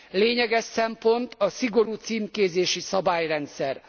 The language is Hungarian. Lényeges szempont a szigorú címkézési szabályrendszer.